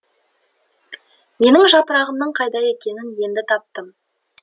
менің жапырағымның қайда екенін енді таптым